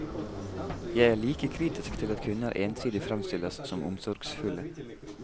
Jeg er like kritisk til at kvinner ensidig fremstilles som omsorgsfulle.